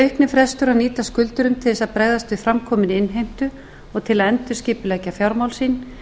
að nýtast skuldurum til þess að bregðast við framkominni innheimtu og til að endurskipuleggja fjármál sín en